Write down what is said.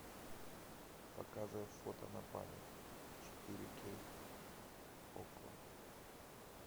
показывай фото на память четыре кей окко